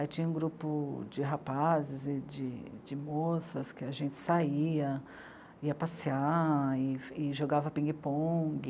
Aí tinha um grupo de rapazes e de... de moças que a gente saía, ia passear e e jogava pingue-pongue.